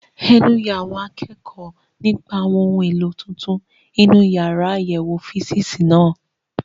Ẹnu ya àwọn akẹ́kọ̀ọ́ nípa àwọn ohun èlò tuntun inú yàrá àyẹ̀wò físììsì náà.